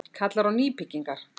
Kallar á nýbyggingar